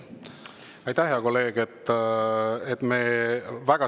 Aitäh, hea kolleeg!